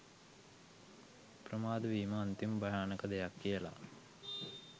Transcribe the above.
ප්‍රමාද වීම අන්තිම භයානක දෙයක් කියල.